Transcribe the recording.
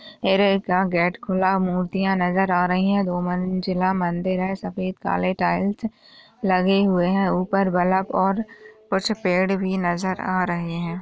का गेट खुला मूर्तियां नजर आ रही हैं। दो मंजिला मंदिर है। सफेद काले टाइल्स लगे हुए हैं। ऊपर बल्ब और कुछ पेड़ भी नजर आ रहे हैं।